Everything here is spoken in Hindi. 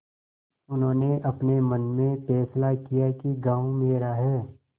उन्होंने अपने मन में फैसला किया कि गॉँव मेरा है